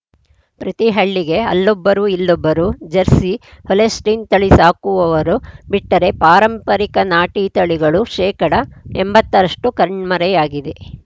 ಪ್ರತಿ ಹಳ್ಳಿಗೆ ಅಲ್ಲೊಬ್ಬರು ಇಲ್ಲೊಬ್ಬರು ಜೆರ್ಸಿ ಹೊಲೆಸ್ಟಿನ್‌ ತಳಿ ಸಾಕುವವರು ಬಿಟ್ಟರೆ ಪಾರಂಪರಿಕ ನಾಟಿ ತಳಿಗಳು ಶೇಕಡ ಎಂಬತ್ತ ರಷ್ಟುಕಣ್ಮರೆಯಾಗಿವೆ